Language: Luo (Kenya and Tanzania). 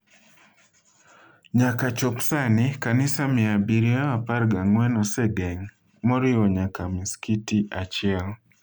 Nyaka chop sani, kanisa mia abirio apargi ang'wen osegeng’, moriwo nyaka masikiti achiel.